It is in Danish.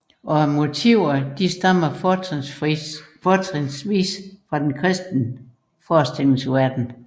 Og motiverne stammer fortrinsvis fra den kristne forestillingsverden